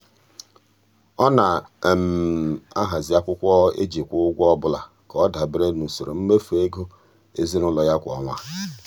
ọ na-ahazi akwụkwọ e ji kwụọ ụgwọ ọbụla ka ọ dabere n'usoro mmefu ego ezinụụlọ ya kwa ọnwa.